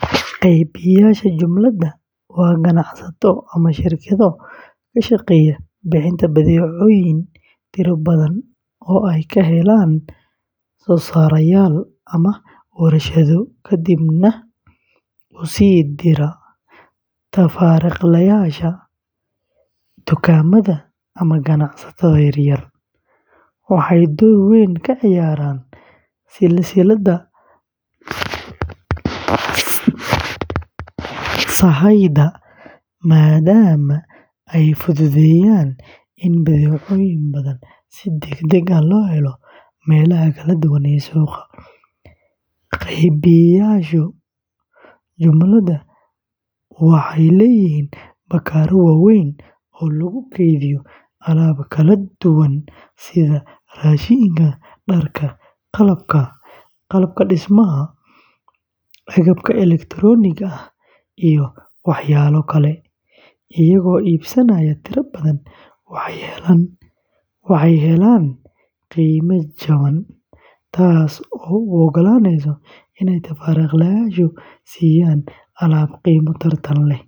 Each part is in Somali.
Qeybiyeyaasha jumlada waa ganacsato ama shirkado ka shaqeeya bixinta badeecooyin tiro badan oo ay ka helaan soosaarayaal ama warshado, kadibna u sii dira tafaariiqleyaasha, dukaamada, ama ganacsatada yar yar. Waxay door weyn ka ciyaaraan silsiladda sahayda maadaama ay fududeeyaan in badeecooyin badan si degdeg ah loo helo meelaha kala duwan ee suuqa. Qeybiyeyaasha jumlada waxay leeyihiin bakhaarro waaweyn oo lagu kaydiyo alaab kala duwan sida raashinka, dharka, qalabka dhismaha, agabka elektarooniga ah, iyo waxyaabo kale. Iyagoo iibsanaya tiro badan, waxay helaan qiime jaban, taas oo u ogolaanaysa inay tafaariiqleyaasha siiyaan alaab qiimo tartan leh.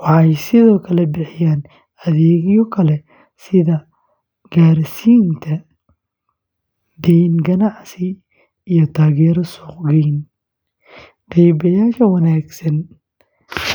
Waxay sidoo kale bixiyaan adeegyo kale sida gaarsiinta, dayn ganacsi, iyo taageero suuq-geyn. Qeybiyeyaasha wanaagsan waxay la shaqeeyaan shirkado badan.